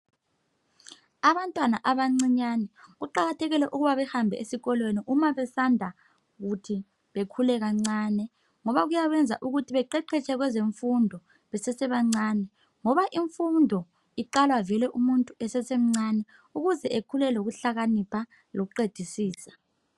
Abantwana abancinyane kuqakathekile ukuba behambe esikolweni uma besanda kuthi bekhule kancane ngoba kuyabayenza ukuthi beqeqetshe kwezemfundo besesebancane ngoba imfundo iqala vele umuntu esesemncane ukuze ekhule elokuhlakanipha lokuqedisisa.